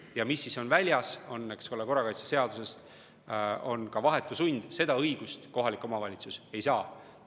Ja mis on väljas: korrakaitseseaduses on ka vahetu sund, seda õigust kohalik omavalitsus ei saa.